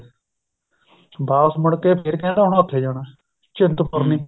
ਵਾਪਸ ਮੁੜਕੇ ਫ਼ੇਰ ਕਹਿੰਦਾ ਹੁਣ ਉੱਥੇ ਜਾਣਾ ਚਿੰਤਪੁਰਨੀ